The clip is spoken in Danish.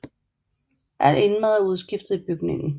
Alt indmad er udskiftet i bygningen